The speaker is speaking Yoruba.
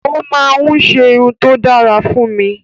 O máa ń ṣerun tó dára fún mi